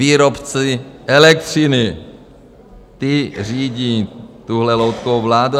Výrobci elektřiny, ti řídí tuhle loutkovou vládu.